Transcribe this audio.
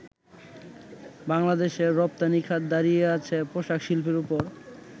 বাংলাদেশের রপ্তানিখাত দাঁড়িয়ে আছে পোশাক শিল্পের ওপর।